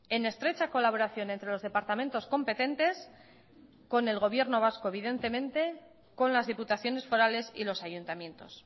en estrecha colaboración entre los departamentos competentes con el gobierno vasco evidentemente con las diputaciones forales y los ayuntamientos